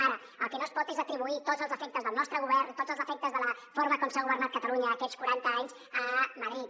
ara el que no es pot és atribuir tots els defectes del nostre govern tots els defectes de la forma com s’ha governat catalunya aquests quaranta anys a madrid